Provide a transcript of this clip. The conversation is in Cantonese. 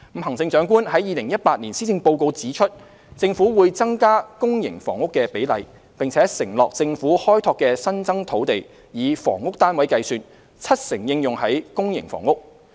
行政長官在2018年施政報告指出，政府會增加公營房屋的比例，並承諾政府開拓的新增土地，以房屋單位計算，七成應用於公營房屋。